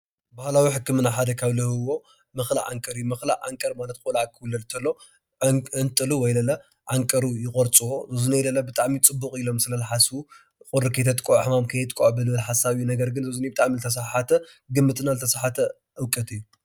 ባህላዊ ሕክምና ሓደ ካብ ዝህብዎ ምኽላእ ዓንቀር እዩ። ምኽላእ ዓንቀር ማለት ቆልዓ ክዉለድ ከሎ ዒንጥሩ ወይ ዓንቀሩ ይቆርፅዎ። ወይ ብጣዕሚ ፅቡቅ ኢሎም ስለ ዝሓስቡ ቁሪ ከየጥቅዖ፣ ሕማም ከየጥቅዖ፣ ብዝብል ሓሳብ። ነገር ግን እዚ ብጣዕሚ ዝተስሓሓተ ግምትና ዝተስሓሓተ እውቀት እዩ።